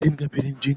Kin ga firinjin?